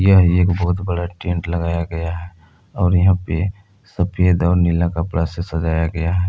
यह एक बहुत बड़ा टेंट लगाया गया है और यहां पर सफेद और नीला कपड़ा से सजाया गया है।